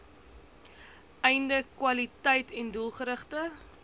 einde kwaliteiten doelgerigte